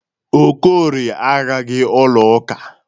Okorie agaghị ụlọ ụka.